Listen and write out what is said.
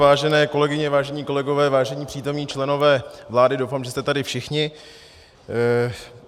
Vážené kolegyně, vážení kolegové, vážení přítomní členové vlády - doufám, že jste tady všichni.